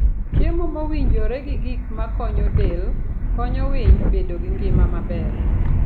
Chiemo mowinjore gi gik makonyo del, konyo winy bedo gi ngima maber.